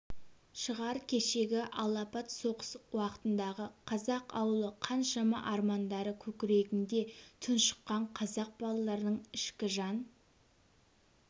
шығар кешегі алапат соғыс уақытындағы қазақ ауылы қаншама армандары көкірегінде тұншыққан қазақ балаларының ішкі жан